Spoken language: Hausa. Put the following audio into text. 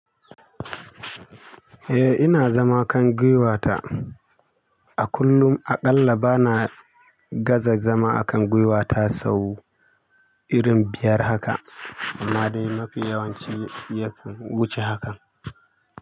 Eh ina zama kan gwuiwata a kullum, aƙalla bana gaza zama a kan giwayta sau irin biyar haka. Amma dai mafi yawanci yafi wuce hakan.